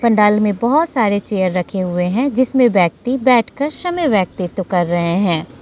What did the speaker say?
पंडाल में बहोत सारे चेयर रखे हुए हैं जिसमें व्यक्ति बैठकर समय व्यतीत कर रहे हैं।